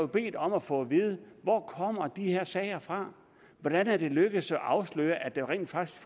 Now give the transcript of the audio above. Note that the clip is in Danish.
bedt om at få at vide hvor kommer de her sager fra hvordan er det lykkedes at afsløre at der rent faktisk